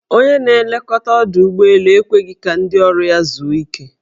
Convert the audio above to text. Onye na-elekọta ọdọụgbọelu ekweghi ka ndị ọrụ ya zuo ike.